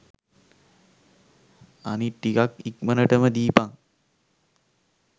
අනිත් ටිකත් ඉක්මනටම දීපන්.